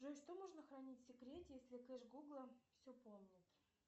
джой что можно хранить в секрете если кэш гугла все помнит